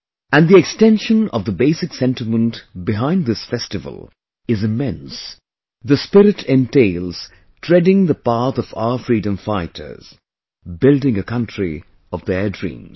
And the extension of the basic sentiment behind this festival is immense...the spirit entails treading the path of our freedom fighters...building a country of their dreams